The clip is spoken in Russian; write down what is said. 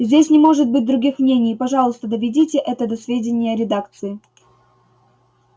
здесь не может быть других мнений и пожалуйста доведите это до сведения редакции